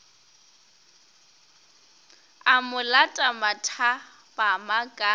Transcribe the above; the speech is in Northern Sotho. a mo lata mathapama ka